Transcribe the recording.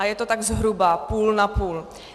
A je to tak zhruba půl na půl.